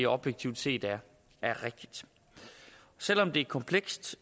objektivt set er rigtigt selv om det er komplekst